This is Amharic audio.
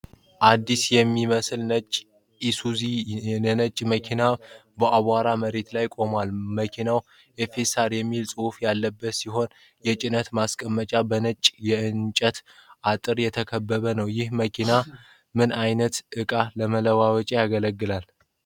አዲስ የሚመስል ነጭ ኢሱዙ የጭነት መኪና በአቧራማ መሬት ላይ ቆሟል። መኪናው 'FSR' የሚል ጽሑፍ ያለበት ሲሆን የጭነት ማስቀመጫው በነጭ የእንጨት አጥር የተከበበ ነው። ይህ መኪና ምን ዓይነት ዕቃ ለመጫን ያገለግላል?